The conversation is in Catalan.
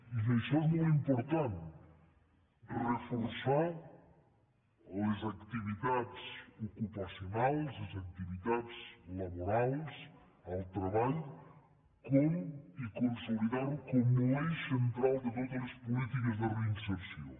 i això és molt important reforçar les activitats ocupacionals les activitats laborals el treball i consolidarho com l’eix central de totes les polítiques de reinserció